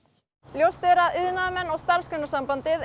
ljóst er að iðnaðarmenn og Starfsgreinasambandið